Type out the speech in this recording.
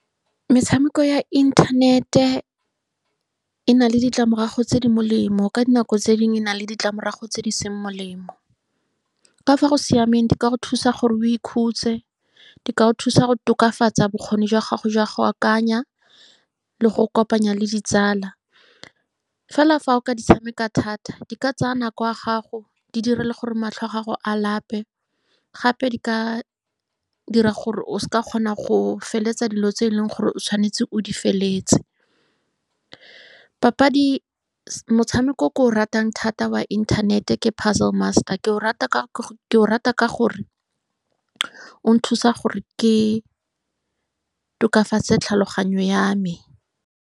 Metshameko ya internet-e e na le ditlamorago tse di molemo, ka dinako tse dingwe e na le ditlamorago tse di seng molemo. Ka fa go siameng, di ka go thusa gore o ikhutse, di ka go thusa go tokafatsa bokgoni jwa gago jwa go akanya le go go kopanya le ditsala. Fela fa o ka di tshameka thata, di ka tsaya nako ya gago, di dire le gore matlho a gago a lape. Gape di ka dira gore o se ke wa kgona go feleletsa dilo tse e leng gore o tshwanetse o di feleletse. Papadi , motshameko o ke o ratang thata wa inthanete ke Puzzle Master. Ke o rata ka , ke o rata ka gore o nthusa gore ke tokafatse tlhaloganyo ya me.